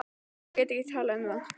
Ég get ekki talað um það.